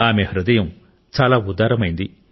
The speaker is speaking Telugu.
ఆమె హృదయం చాలా ఉదారమైంది